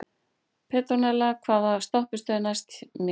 Petrónella, hvaða stoppistöð er næst mér?